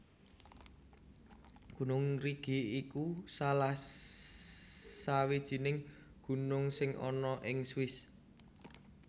Gunung Rigi iku salah sawijining gunung sing ana ing Swiss